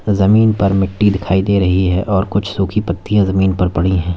जमीन पर मिट्टी दिखाई दे रही है और कुछ सूखी पत्तियां जमीन पर पड़ी है।